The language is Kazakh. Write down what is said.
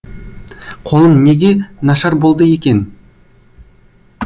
қолым неге нашар болды екен